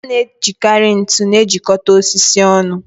A na-ejikarị ntu na-ejikọta osisi ọnụ